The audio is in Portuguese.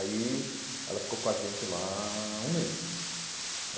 Aí ela ficou com a gente lá um mês